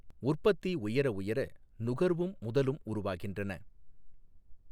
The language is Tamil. உற்பத்தி உயரஉயர நுகர்வும் முதலும் உருவாகின்றன.